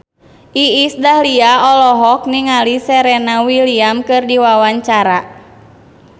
Iis Dahlia olohok ningali Serena Williams keur diwawancara